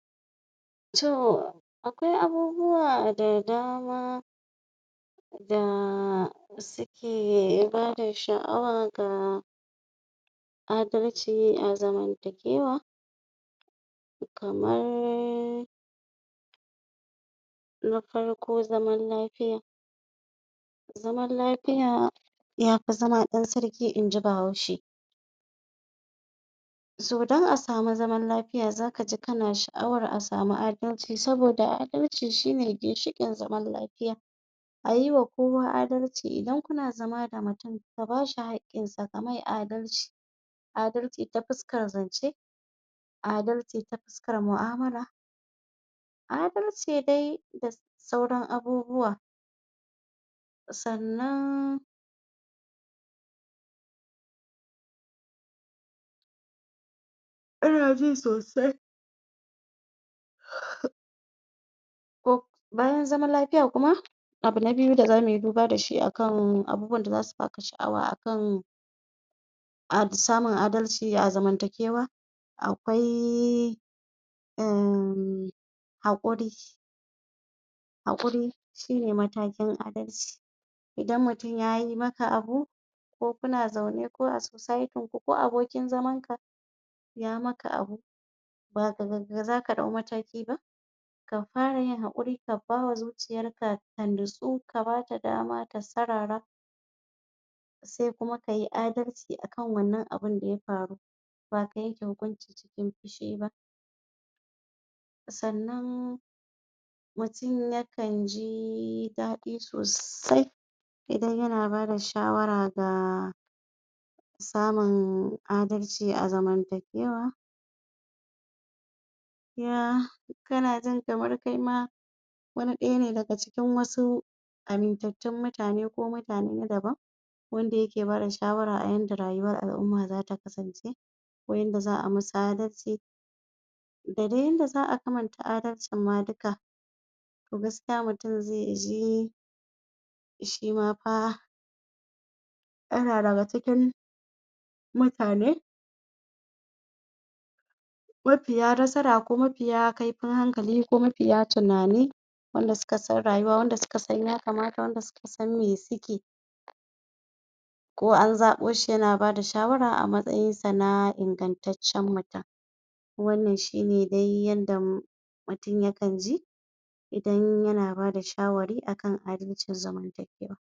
to akwai abubuwa da dama da suke bada sha'awa ga adalci a zamantakewa kamar na farko zaman lafiya zaman lafiya yafi zama ɗan sarki inji bahaushe to don a samu zaman lafiya zaka ji kana sha'awar a samu adalci saboda adalci shine ginshiƙin zama lafiya ayiwa kowa adalci indan kuna zama da mutum ka bashi haƙƙin sa kamai adalci adalci ta fuskar zance adalci ta fuskar mu'amala adalci dai da sauran abubuwa sannan ana jin sosai ko bayan zaman lafiya kuma abu na biyu da zamuyi duba dashi akan abubuwan da zasu baka sha'awa akan samun adalci a zamantakewa akwai in haƙuri haƙuri shine matakin adalci idan mutum yayi maka abu ko kuna zaune ko a soceity ku ko abokin zaman ka ya maka abu ba gagagaga zaka ɗau mataki ba ka fara yin haƙuri ka bawa zuciyar ka, ka nutsu ka bata dama ta sarara se kuma kayi adalci akan wannan abun daya faru ba ka yanke hikunci cikin fushi ba sannan mutum yakan ji daɗi sosai idan yana bada shawara ga samun adalci a zaman takewa ya kana jin kamar kaima wani ɗaya ne daga cikin wasu amintattun mutane ko mutane na daban wanda yake bada shawara a yanda rayuwar al'umma zata kasance ko yanda za'a musu adalci da dai yadda za'a kamanta adalcin ma duka to gaskiya mutum zeji shima fa yana daga cikin mutane mafiya nasara ko mafiya kaifin hankali ko mafiya tunani wanda suka san rayuwa wanda suka san ya kamata wanda suka san me suke ko an zaɓoshi yana bada shawara a matsayin sa na ingantaccan mutum wannnan shine dai yanda mutum yakan ji idan yana bada shawari akan adalcin zaman takewa